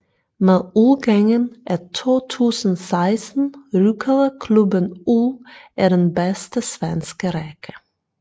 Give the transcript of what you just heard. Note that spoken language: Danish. Med udgangen af 2016 rykkede klubben ud af den bedste svenske række